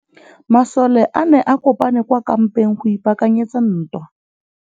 Masole a ne a kopane kwa kampeng go ipaakanyetsa ntwa.